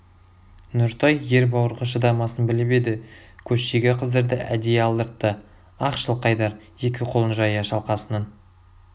нұртай ер бауырға шыдамасын біліп еді көштегі қыздарды әдейі алдыртты ах жылқайдар екі қолын жая шалқасынан